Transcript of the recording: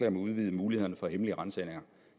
om at udvide mulighederne for hemmelige ransagninger